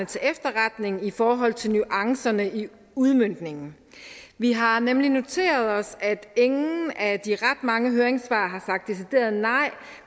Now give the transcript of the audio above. til efterretning i forhold til nuancerne i udmøntningen vi har nemlig noteret os at ingen af de ret mange høringssvar har sagt decideret nej